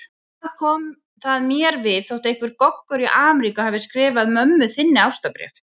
Hvað kom það mér við þótt einhver Goggur í Ameríku skrifaði mömmu þinni ástarbréf?